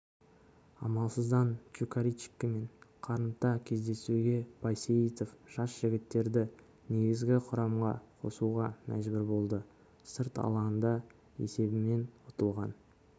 амалсыздан чукаричкимен қарымта кездесуге байсейітов жас жігіттерді негізгі құрамға қосуға мәжбүр болды сырт алаңда есебімен ұтылған